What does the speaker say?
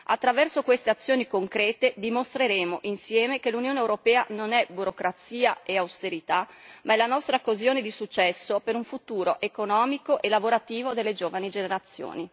Attraverso queste azioni concrete dimostreremo insieme che l'Unione europea non è burocrazia e austerità, ma è la nostra occasione di successo per un futuro economico e lavorativo delle giovani generazioni.